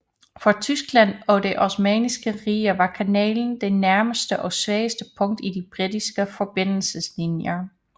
For Tyskland og det Osmanniske Rige var kanalen det nærmeste og svageste punkt i de britiske forbindelseslinjer